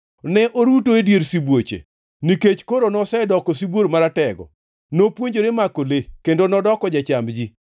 Ne oruto e dier sibuoche, nikech koro nosedoko sibuor maratego. Nopuonjore mako le kendo nodoko jacham ji.